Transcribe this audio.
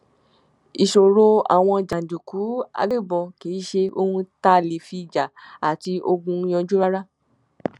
ìṣòro àwọn jàǹdùkú àgbẹbọn kì í ṣe ohun tá a lè fi ìjà àti ogun yanjú rárá